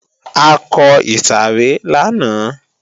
A kọ ìsàrẹ́ lánàá